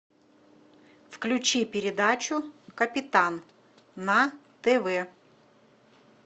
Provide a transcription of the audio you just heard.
включи передачу капитан на тв